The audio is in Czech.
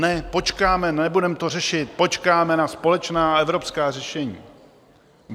Ne, počkáme, nebudeme to řešit, počkáme na společná evropská řešení.